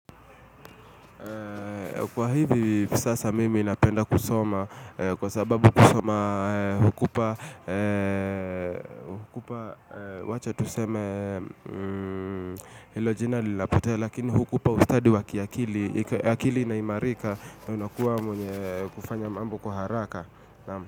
Kwa hivi sasa mimi napenda kusoma kwa sababu kusoma hukupa wacha tuseme hilo jina linapotea lakini hukupa ustadi wa kiakili akili inaimarika na unakuwa mwenye kufanya mambo kwa haraka.